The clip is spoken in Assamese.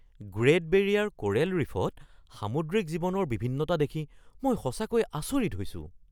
গ্ৰেট বেৰিয়াৰ কোৰেল ৰীফত সামুদ্ৰিক জীৱনৰ বিভিন্নতা দেখি মই সঁচাকৈয়ে আচৰিত হৈছোঁ।